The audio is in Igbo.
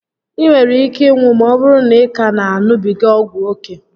I nwere ike ịnwụ ma ọbụrụ na ị ka na a ṅubiga ọgwụ ókè